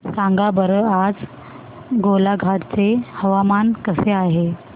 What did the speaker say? सांगा बरं आज गोलाघाट चे हवामान कसे आहे